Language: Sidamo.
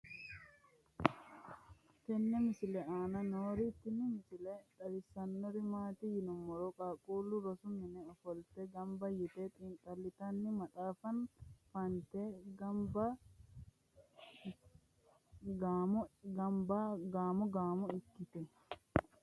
tenne misile aana noorina tini misile xawissannori maati yinummoro qaaqqullu rosu minne offolitte ganbba yiitte xiinixallittanni maxaaffa fa'nitte gaammo gaammo ikkette